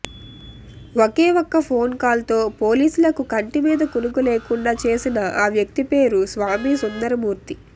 ఒకే ఒక్క phone call తో పోలీసులకు కంటిమీద కునుకు లేకుండా చేసిన ఆ వ్యక్తి పేరు స్వామి సుందరమూర్తి